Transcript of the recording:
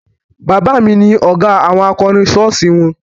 Bàbá mi ni ọ̀gá àwọn akọrin ṣọ́ọ̀ṣì won